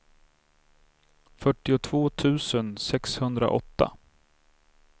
fyrtiotvå tusen sexhundraåtta